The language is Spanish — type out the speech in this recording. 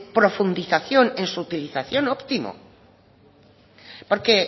profundización en su utilización óptimo porque